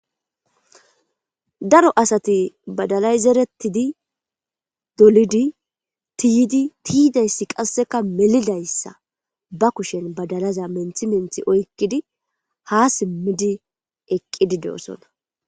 Daro asati baddallay zerettidii doollidi tiyidii tiyidayssi qasekka meelidayssa ba kushshen baddallaza menththi menththi oykiddi ha siimmi oykidii eeqiddi de'iossonna.